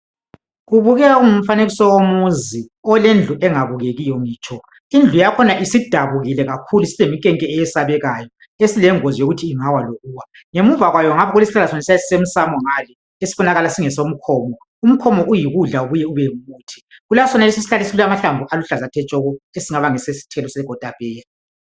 Kubukeka kungumfanekiso womuzi olendlu engabukekiyo ngitsho indlu yakhona isidabukile kakhulu isileminkenke eyesabekayo esilengozi yokuthi ingawa lokuwa ngemuva kwayo nga kulesihlahla esisemsamo ngale esibonakala singesomkhomo umkhomo uyikudla ubuye ube ngumuthi kulasonalesi isihlahla esilamahlamvu aluhlaza tshoko esingabe ngesesithelo sekotapeya.